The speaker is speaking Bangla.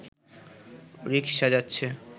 রিকশা যাচ্ছে